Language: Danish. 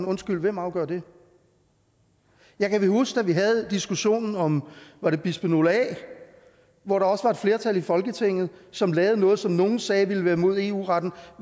undskyld hvem afgør det jeg kan huske at da vi havde diskussionen om var det bisfenol a var der også et flertal i folketinget som lavede noget som nogle sagde ville være imod eu retten